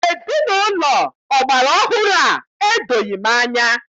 Ezinaụlọ ọgbara ọhụrụ a edoghị m anya.